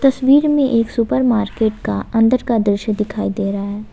तस्वीर में एक सुपर मार्केट का अंदर का दृश्य दिखाई दे रहा है।